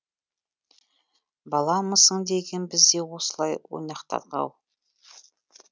баламысың деген біз де осылай ойнақтадық ау